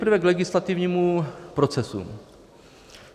Nejprve k legislativnímu procesu.